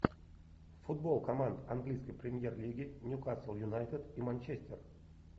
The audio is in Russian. футбол команд английской премьер лиги ньюкасл юнайтед и манчестер